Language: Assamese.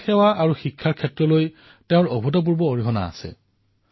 সমাজ সেৱা আৰু শিক্ষাৰ প্ৰতি তেওঁৰ অসাধাৰণ আকৰ্ষণ আছিল